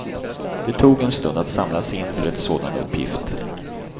Det tog en stund att samla sig inför ett sådan uppgift.